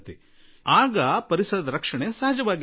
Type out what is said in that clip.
ಅಗ ಪರಿಸರ ಸಂರಕ್ಷಣೆಯೂ ಆಗುತ್ತದೆ